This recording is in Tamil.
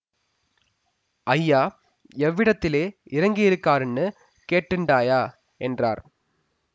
ஐயா எவ்விடத்திலே இறங்கியிருகாருன்னு கேட்டுண்டாயா என்றார்